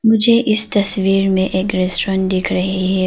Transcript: मुझे इस तस्वीर में एक रेस्टोरेंट दिख रही है।